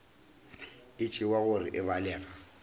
e tšewa gore e balega